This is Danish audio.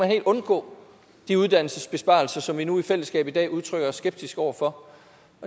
have undgået de uddannelsesbesparelser som vi nu i fællesskab i dag udtrykker os skeptiske over for